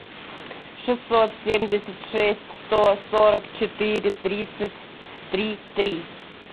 шестьсот семьдесят шесть сто сорок четыре тридцать три три